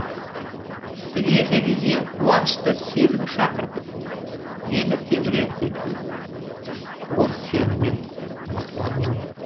дүниедегі ең қуанышты сезім шақыртып мені тебірентетін ол сенімен мақтануым